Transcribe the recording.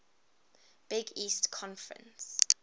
big east conference